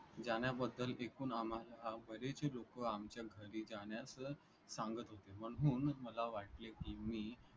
जाण्याबद्दल एकूण आम्हाला बरेचसे लोकं आमच्या घरी जाण्यास सांगत होते. म्हणून मला वाटले की मी